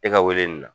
E ka weleli la